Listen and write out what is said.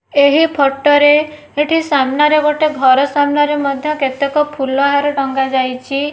ଏହି ଫଟୋ ରେ ଏଠି ସାମ୍ନାରେ ଗୋଟେ ଘର ସାମ୍ନାରେ ମଧ୍ୟ କେତେକ ଫୁଲହାର ଟଙ୍ଗା ଯାଇଛି।